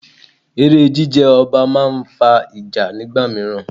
Eré jí jẹ ọba máa ń fa ìjà nígbà míràn.